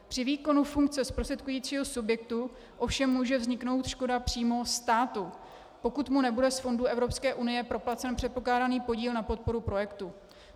Při výkonu funkce zprostředkujícího subjektu ovšem může vzniknout škoda přímo státu, pokud mu nebude z fondů Evropské unie proplacen předpokládaný podíl na podporu projektu.